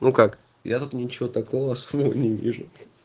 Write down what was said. ну как я тут ничего такого особенного не вижу